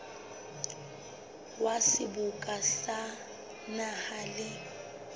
wa seboka sa naha le